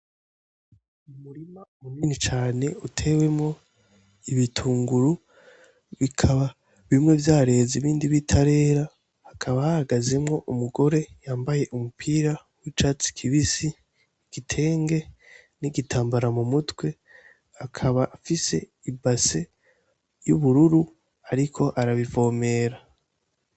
Umurima umunini cane utewemwo ibitunguru bikaba bimwe vyareza ibindi b'itarera hakaba hahagazemwo umugore yambaye umupira w'icats kibisi igitenge n'igitambara mu mutwe akaba afise ibase y'ubururu, ariko arabivomera.